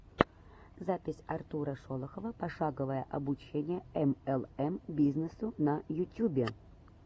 запись артура шолохова пошаговое обучение млм бизнесу на ютюбе